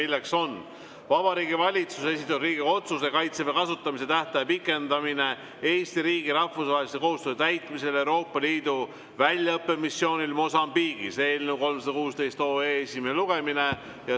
See on Vabariigi Valitsuse esitatud Riigikogu otsuse "Kaitseväe kasutamise tähtaja pikendamine Eesti riigi rahvusvaheliste kohustuste täitmisel Euroopa Liidu väljaõppemissioonil Mosambiigis" eelnõu 316 esimene lugemine.